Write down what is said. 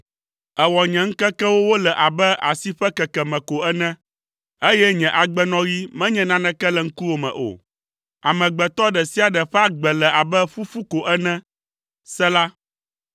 Èwɔ nye ŋkekewo wole abe asi ƒe kekeme ko ene, eye nye agbenɔɣi menye naneke le ŋkuwò me o. Amegbetɔ ɖe sia ɖe ƒe agbe le abe ƒuƒu ko ene. Sela